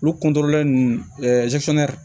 Olu ninnu fana